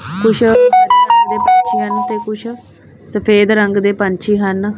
ਤੇ ਕੁਛ ਸਫੇਦ ਰੰਗ ਦੇ ਪੰਛੀ ਹਨ।